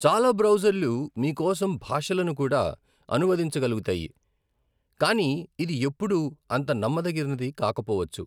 చాలా బ్రౌజర్లు మీ కోసం భాషలను కూడా అనువదించగలుగుతాయి, కానీ ఇది ఎప్పుడూ అంత నమ్మదగినది కాకపోవచ్చు.